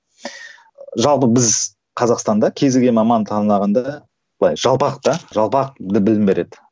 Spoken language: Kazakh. жалпы біз қазақстанда кез келген мамандық таңдағанда былай жалпақ та жалпақ білім береді